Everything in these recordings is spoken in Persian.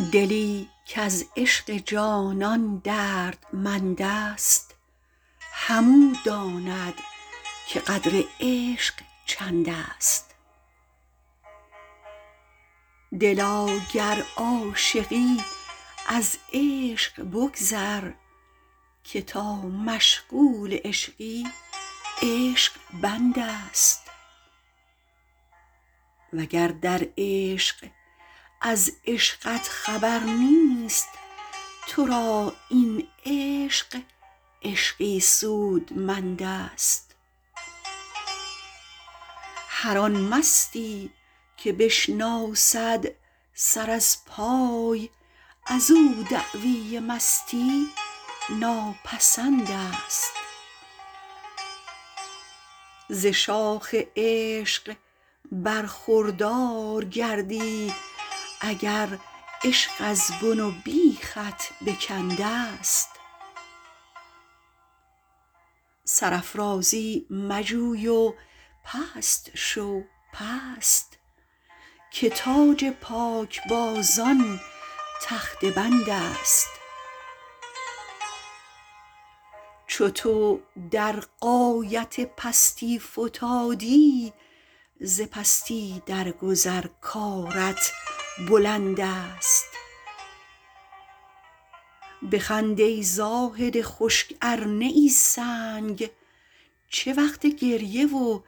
دلی کز عشق جانان دردمند است همو داند که قدر عشق چند است دلا گر عاشقی از عشق بگذر که تا مشغول عشقی عشق بند است وگر در عشق از عشقت خبر نیست تو را این عشق عشقی سودمند است هر آن مستی که بشناسد سر از پای ازو دعوی مستی ناپسند است ز شاخ عشق برخوردار گردی اگر عشق از بن و بیخت بکند است سرافرازی مجوی و پست شو پست که تاج پاک بازان تخته بند است چو تو در غایت پستی فتادی ز پستی در گذر کارت بلند است بخند ای زاهد خشک ارنه ای سنگ چه وقت گریه و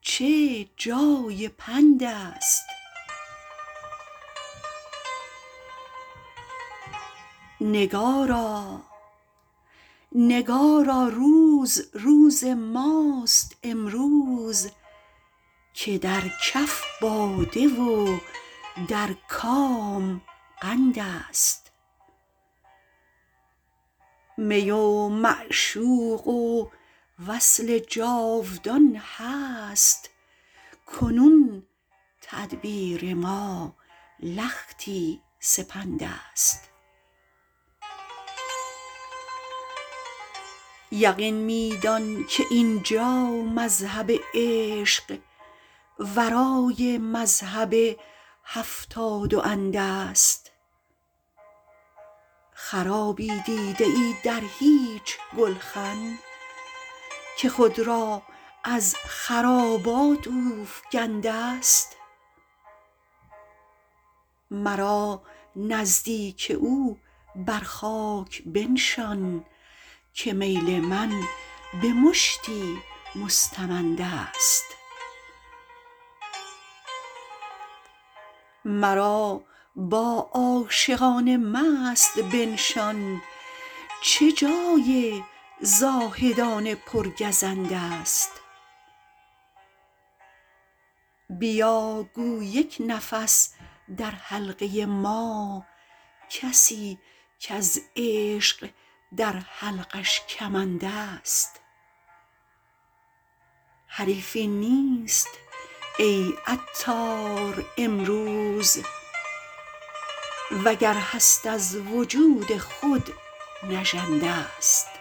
چه جای پند است نگارا روز روز ماست امروز که در کف باده و در کام قند است می و معشوق و وصل جاودان هست کنون تدبیر ما لختی سپند است یقین می دان که اینجا مذهب عشق ورای مذهب هفتاد و اند است خرابی دیده ای در هیچ گلخن که خود را از خرابات اوفگند است مرا نزدیک او بر خاک بنشان که میل من به مشتی مستمند است مرا با عاشقان مست بنشان چه جای زاهدان پر گزند است بیا گو یک نفس در حلقه ما کسی کز عشق در حلقش کمند است حریفی نیست ای عطار امروز وگر هست از وجود خود نژند است